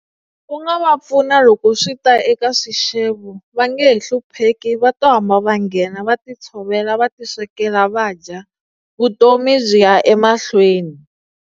U nga va pfuna loko swi ta eka swixevo va nge he hlupheki va to hamba va nghena va ti tshovela va ti swekela va dya vutomi byi ya emahlweni.